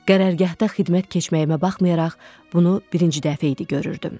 Qərargahda xidmət keçməyimə baxmayaraq, bunu birinci dəfə idi görürdüm.